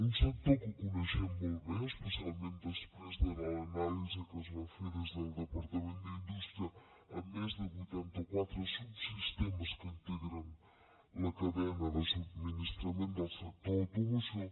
un sector que coneixem molt bé especialment després de l’anàlisi que es va fer des del departament d’indústria a més de vuitanta quatre subsistemes que integren la cadena de subministrament del sector de l’automoció